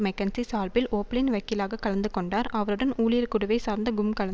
McKinsey சார்பில் ஓப்லின் வக்கீலாக கலந்துகொண்டார் அவருடன் ஊழியர் குடுவை சார்ந்த கும் கலந்